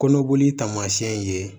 Kɔnɔboli taamasiyɛn ye